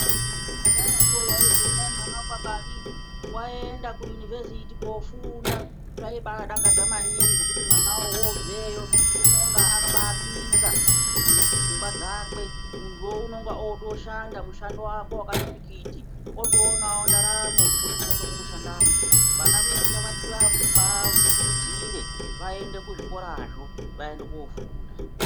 Kudhayako waizwi hona mwana wekwa ndani aenda kuunivhesiti kofunda zvaibadakadza maningi ngekuti mwana wobveyo unenge wakapinza pfungwa dzake muntuwo unenge oshanda mushando wako wakati pikiti oonawo ndaramo kubudikidza ngekushandamo vana vedu ngativakurudzire vaende kuzvikora zvo vaende kofunda.